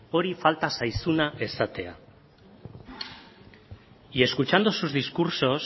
hori falta zaizuna esatea y escuchando sus discursos